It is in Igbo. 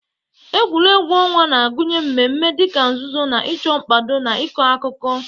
Egwuregwu ọnwa na-agụnye mmemme dị ka nzuzo-na ịchọ, mkpado, na ịkọ akụkọ.